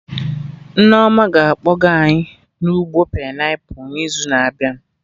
Nneoma na-akpọga anyị na ugbo painiapụl n'izu na-abịa